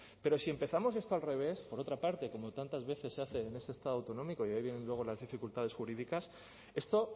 pero si empezamos esto al revés por otra parte como tantas veces se hace en este estado autonómico y de ahí vienen luego las dificultades jurídicas esto